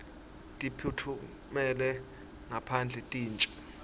titfumela ngaphandle tintje